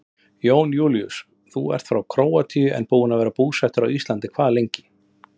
Jón Júlíus: Þú ert frá Króatíu en búinn að vera búsettur á Íslandi hvað lengi?